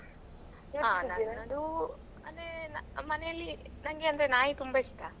ಹಾ ನನ್ನದು ಅದೇ ಮನೆಯಲ್ಲಿ ನಂಗೆ ಅಂದ್ರೆ ನಾಯಿ ತುಂಬಾ ಇಷ್ಟ.